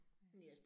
Ja